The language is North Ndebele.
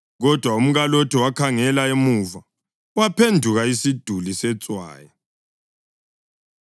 Kodwa umkaLothi wakhangela emuva, waphenduka isiduli setswayi.